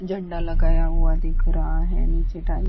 झंडा लगाया हुआ दिख रहा है नीचे टाइल ।